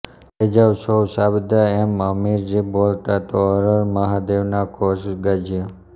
થઈ જાવ સૌ સાબદા એમ હમીરજી બોલતા તો હર હર મહાદેવનાં ધોષ ગાજ્યા